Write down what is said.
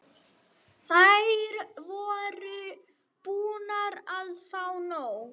Þær voru búnar að fá nóg.